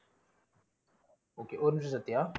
okay ஒரு நிமிஷம் சத்யா.